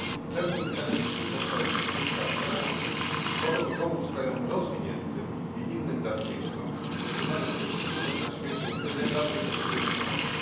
Termin LDC powstał 40 lat temu po to, by pomóc krajom rozwiniętym i innym darczyńcom w rozpoznaniu tych wspólnot na świecie, które najbardziej potrzebują pomocy.